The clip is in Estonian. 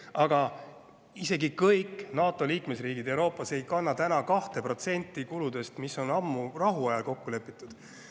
Aga isegi kõik NATO liikmesriigid Euroopas ei kanna täna 2% kuludest, mis on ammu rahuajal kokku lepitud.